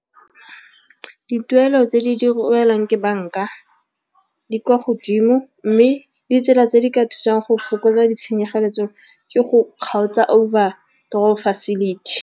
Dituelo tse di di ke banka di kwa godimo, mme ditsela tse di ka thusang go fokotsa ditshenyegelo tseo ke go kgaotsa overdraft facility.